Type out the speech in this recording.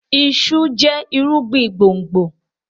iṣu jẹ irúgbìn gbòngbò.